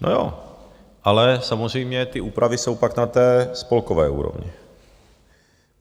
No jo, ale samozřejmě ty úpravy jsou pak na té spolkové úrovni.